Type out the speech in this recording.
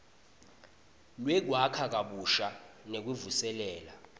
lwekwakha kabusha nekuvuselela